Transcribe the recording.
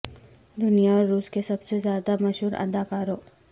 دنیا اور روس کے سب سے زیادہ مشہور اداکاروں